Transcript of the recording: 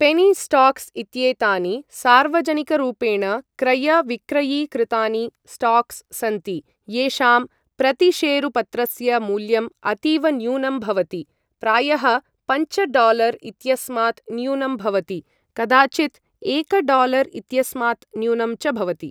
पेनी stocks इत्येतानि सार्वजनिकरूपेण क्रय विक्रयी कृतानि स्टाक्स् सन्ति येषां प्रतिशेरुपत्रस्य मूल्यम् अतीव न्यूनं भवति, प्रायः पञ्च डालर् इत्यस्मात् न्यूनं भवति, कदाचित् एक डालर् इत्यस्मात् न्यूनं च भवति।